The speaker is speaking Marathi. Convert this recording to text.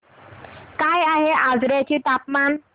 काय आहे आजर्याचे तापमान